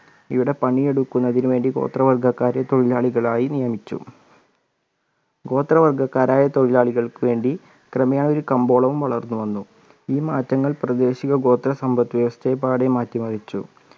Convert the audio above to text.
ഇവിടെ പണി എടുക്കുന്നതിന് വേണ്ടി ഗോത്രവർഗ്ഗക്കാരെ തൊഴിലാളികളായി നിയമിച്ചു ഗോത്രവർഗ്ഗക്കാരായ തൊഴിലാളികൾക്ക്‌ വേണ്ടി ക്രമേ ആയി ഒരു കമ്പോളവും വളർന്നു വന്നു ഈ മാറ്റങ്ങൾ പ്രദേശിക ഗോത്ര സമ്പത്ത് വ്യവസ്ഥയെ പാടെ മാറ്റി മറിച്ചു